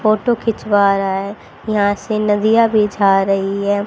Photo खिंचवा रहा है यहां से नदिया भी जा रही है।